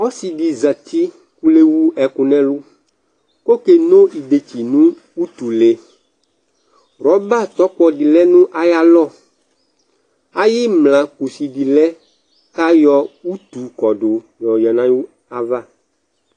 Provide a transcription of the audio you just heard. ɔsi di zati kò le wu ɛkò n'ɛlu kò ɔke no idetsi no utu le rɔba tsɔkpɔ di lɛ no ayi alɔ ayi imla kusi di lɛ k'ayɔ utu kɔdu yɔ ɔlɛ no ayi ava